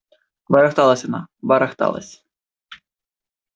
барахталась она барахталась